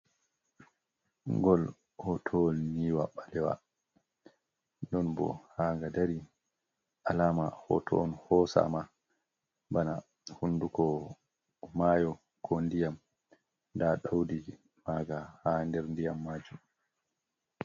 Gol hotowal yniwa ɓalewa non bo ha ga dari alama hoto on hosa ma bana hunduko mayo ko ndiyam nda daudi maga ha nder diyam majum.